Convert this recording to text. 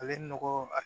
Ale nɔgɔ a